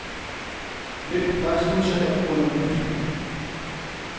Vælg faxmodtager under ny fil.